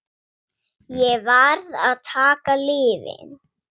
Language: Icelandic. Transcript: Ég varð að taka lyfin.